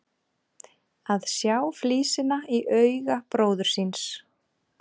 Að sjá flísina í auga bróður síns